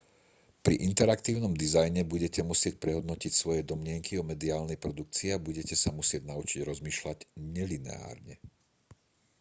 pri interaktívnom dizajne budete musieť prehodnotiť svoje domnienky o mediálnej produkcii a budete sa musieť naučiť rozmýšľať nelineárne